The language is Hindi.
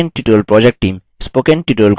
spoken tutorial project team